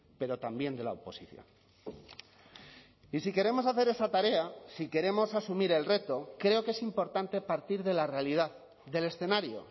pero también de la oposición y si queremos hacer esa tarea si queremos asumir el reto creo que es importante partir de la realidad del escenario